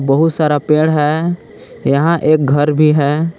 बहुत सारा पेड़ हैं यहां एक घर भी हैं।